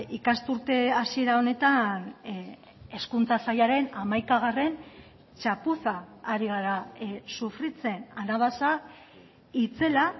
ikasturte hasiera honetan hezkuntza sailaren hamaikagarren txapuza ari gara sufritzen anabasa itzela